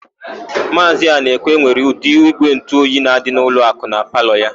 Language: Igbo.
Maazị Anaekwe nwere ụdị ígwèntụoyi na-adị n'ụlọakụ na palọ ya.